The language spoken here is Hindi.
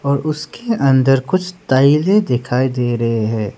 और उसके अंदर कुछ टाइलें दिखाई दे रहे हैं।